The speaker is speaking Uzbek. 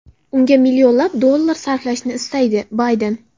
unga millionlab dollar sarflashini istaydi - Bayden.